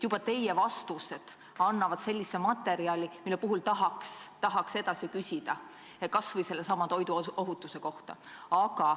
Teie vastused on sellised, et tahaks edasi küsida, kas või sellesama toiduohutuse kohta.